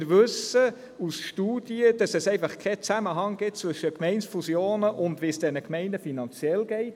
Wir wissen aus Studien, dass es keinen Zusammenhang gibt zwischen Gemeindefusionen und wie es diesen Gemeinden finanziell geht.